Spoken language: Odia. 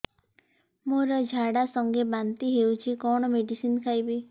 ମୋର ଝାଡା ସଂଗେ ବାନ୍ତି ହଉଚି କଣ ମେଡିସିନ ଖାଇବି